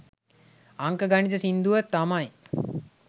අංක ගණිත සින්දුව තමයි